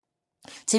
TV 2